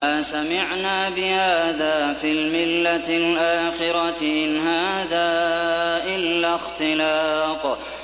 مَا سَمِعْنَا بِهَٰذَا فِي الْمِلَّةِ الْآخِرَةِ إِنْ هَٰذَا إِلَّا اخْتِلَاقٌ